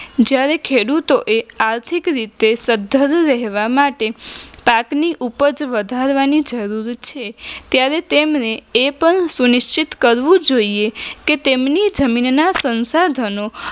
જયારે ખેડૂતોએ આર્થિક રીતે સદ્ધર રહેવા માટે પાકની ઉપજ વધારવાની જરૂર છે ત્યારે તેમને એ પણ સુનિશ્ચિત કરવું જોઈએ કે તેમની જમીનના સંસાધનો